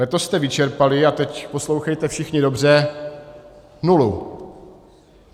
Letos jste vyčerpali - a teď poslouchejte všichni dobře - nulu!